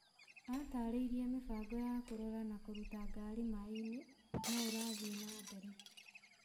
Atarĩrie mĩbango ya kũrora na kũruta ngari maĩini noũrathii na mbere